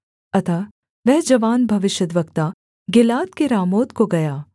अतः वह जवान भविष्यद्वक्ता गिलाद के रामोत को गया